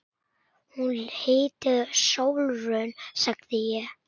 Hún heitir Sólrún, sagði ég.